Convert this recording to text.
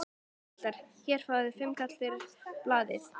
Jæja piltar, hérna fáið þið fimmkall fyrir blaðið!